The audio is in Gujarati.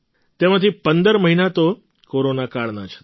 તેમાંથી ૧૫ મહિના તો કોરોનાકાળના જ હતા